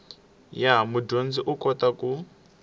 ya mudyondzi u kota ku